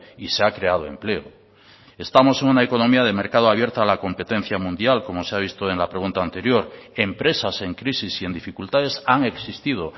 y se ha creado empleo estamos en una economía de mercado abierta a la competencia mundial como se ha visto en la pregunta anterior empresas en crisis y en dificultades han existido